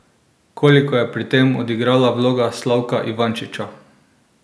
Koliko je pri tem odigrala vloga Slavka Ivančiča?